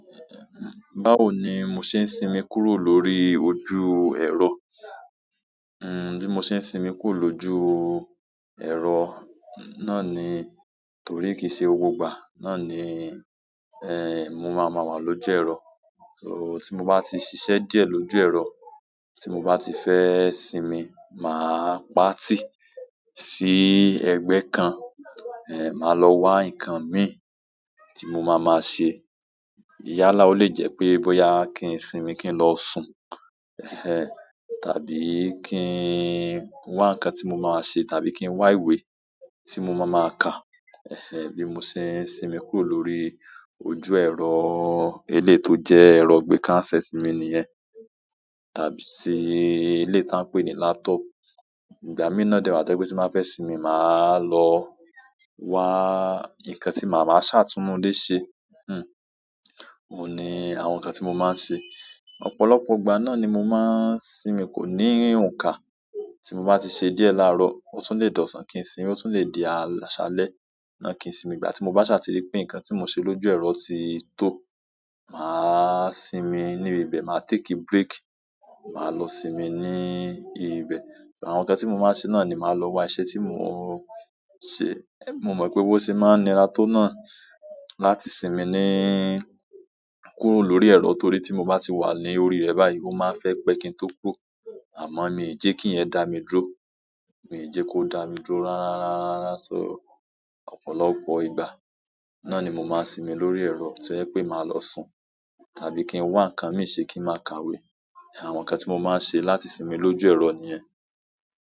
Báwo ni mo ṣe ń sinmi kúrò lórí ojú ẹ̀rọ? Bí mo ṣe ń sinmi kúrò lójú ẹ̀rọ náà ni torí kìí ṣe gbogbo ìgbà náà ni mo máa máa wà lójú ẹ̀rọ. So tí mo bá ti ṣiṣẹ́ díẹ̀ lójú ẹ̀rọ, tí mo bá ti fẹ́ sinmi, màá pàtì sí ẹgbẹ́ kan, màá lọ wa nǹkan mì tí mo máa máa ṣe. Yálà o le jẹ́ pé bóyá kí n sinmi kí n lọ sùn, ehn, tàbí kí n wá nǹkan tí mo máa ṣe, tàbí kí n wá ìwé tí mo máa máa kà. Ehn ehn, bí mo ṣe ń sinmi kúrò lórí ojú ẹ̀rọ eléyi to jẹ́ ẹ̀rọ ìgbẹ́ká handset mi nìyẹn. Tàbí ri eleyii ta n pé ni laptop. Ìgbà mí náà de wa ti je wípé tí n ba fẹ́ sinmi, màá lọ wa nǹkan tí màá, máa ṣà tún inú ile ṣe. Hmm, òun ni àwọn nǹkan tí mo máa ń ṣe. Ọ̀pọ̀lọpọ̀ ìgbà náà ni mo máa ń sinmi, kò ní òuka. Tí mo bá ti ṣe díẹ̀ láàárọ̀, ó tún le dòṣàn kí n sinmi, ó tún le di àṣálẹ́ náà kí n sinmi. Ìgbà tí mo bá ṣàtìrí pé nǹkan tí mo ṣe lójú ẹ̀rọ ti tó, màá sinmi ní ibẹ̀, màá take break, màá lọ sinmi ní ibẹ̀. Àwọn nǹkan tí mo máa ṣe náà ni màá lọ wo iṣẹ́ tí mò ń ṣe. Mo mọ̀ pé owó ṣe máa ń ni rató náà láti sinmi ní kúrò lórí ero torí ti mo ba ti wa lórí re báyìí o ma n fe pe kin to kúrò, amo mi je kiyen da mi dúró, mii je ko dami dúró rara. So ọ̀pọ̀lọpọ̀ ìgbà náà ni mo máa sinmi lórí ẹ̀rọ tí ẹ̀ pé màá lọ sùn tàbí kí n wá nǹkan mìí ṣe kí n máa kàwé. Àwọn nǹkan tí mo máa ń ṣe láti sinmi lójú ẹ̀rọ nìyẹn.